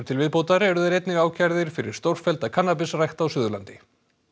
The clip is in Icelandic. til viðbótar eru þeir einnig ákærðir fyrir stórfellda kannabisrækt á Suðurlandi